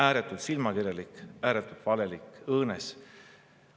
Ääretult silmakirjalik, ääretult valelik, õõnes.